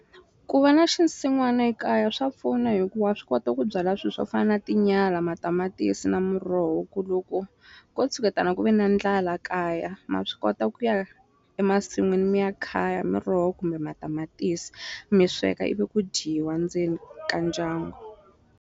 Ku va na xinsin'wana ekaya swa pfuna hikuva swi kota ku byala swi swo fana na tinyala matamatisi na muroho ku loko ko tshuketana ku ve na ndlala kaya ma swi kota ku ya emasin'wini mi ya khaya miroho kumbe matamatisi mi sweka ivi ku dyiwa ndzeni ka ndyangu.